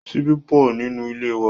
Ṣíbí pọ̀ nínú ilé wa.